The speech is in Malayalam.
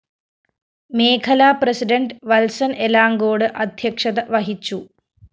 മേഖലാ പ്രസിഡണ്ട് വത്സന്‍ എലാങ്കോട് അധ്യക്ഷത വഹിച്ചു